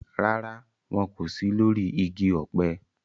Rárá, wọn kò sí lórí igi ọ̀pẹ